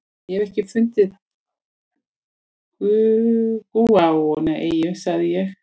Ég hef ekki fundið gúanóeyju, sagði ég.